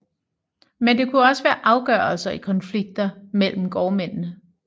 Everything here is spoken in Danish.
Men det kunne også være afgørelser i konflikter mellem gårdmændene